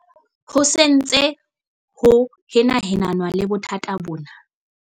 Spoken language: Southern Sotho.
Ho se ho ntse ho henahenanwa le bothata bona.